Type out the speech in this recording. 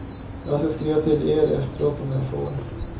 Jag ska skriva till er efteråt om jag får.